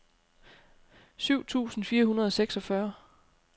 syv tusind fire hundrede og seksogfyrre